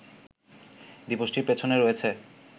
দিবসটির পেছনে রয়েছে